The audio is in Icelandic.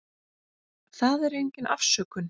Það er engin afsökun.